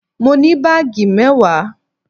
Mo ní baagi mewaa?